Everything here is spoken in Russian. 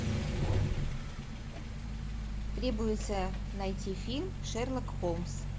требуется найти фильм шерлок холмс